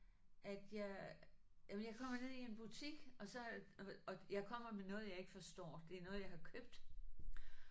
At jeg jamen jeg kommer ned i en butik og så og og jeg kommer med noget jeg ikke forstår det er noget jeg har købt